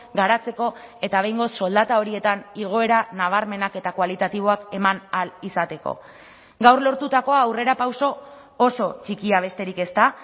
garatzeko eta behingoz soldata horietan igoera nabarmenak eta kualitatiboak eman ahal izateko gaur lortutakoa aurrerapauso oso txikia besterik ez da